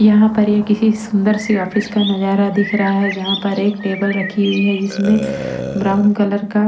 यहाँ पर ये किसी सुंदर सी ऑफिस का नजारा दिख रहा है जहाँ पर एक टेबल रखी हुई है जिसमें ब्राउन कलर का--